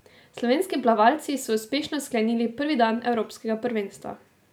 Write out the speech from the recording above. Slovenski plavalci so uspešno sklenili prvi dan evropskega prvenstva.